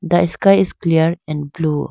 the sky is clear and blue.